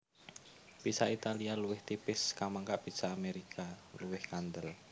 Pizza Italia luwih tipis kamangka pizza Amérika luwih kandel